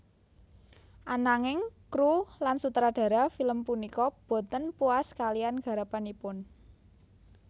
Ananging kru lan sutradara film punika boten puas kalian garapanipun